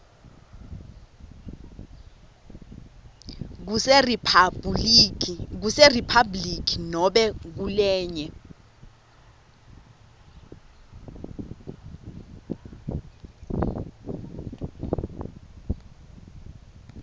kuseriphabhuliki nobe kulenye